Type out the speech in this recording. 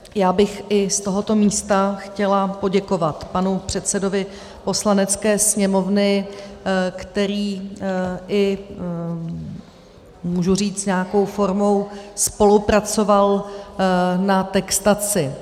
Já bych i z tohoto místa chtěla poděkovat panu předsedovi Poslanecké sněmovny, který, můžu říct, i nějakou formou spolupracoval na textaci.